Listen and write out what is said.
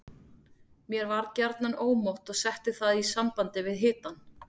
Mér var gjarnan ómótt og setti það í samband við hitann.